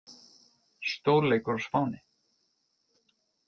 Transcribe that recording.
Stórleikur á Spáni